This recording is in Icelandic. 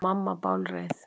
Og mamma bálreið.